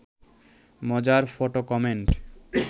মজার photo comment